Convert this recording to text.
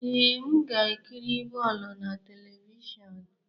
Ee, m ga-ekiri bọọlụ na telivishọn.